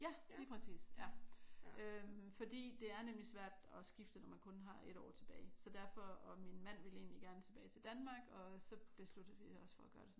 Ja lige præcis. Øh fordi det er nemlig svært at skifte når man kun har 1 år tilbage så derfor og min mand ville egentlig gerne tilbage til Danmark og så besluttede vi os for at gøre det sådan